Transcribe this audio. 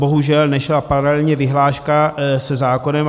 Bohužel nešla paralelně vyhláška se zákonem.